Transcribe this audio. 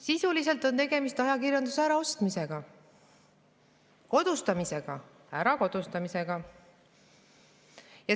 Sisuliselt on tegemist ajakirjanduse äraostmisega, kodustamisega.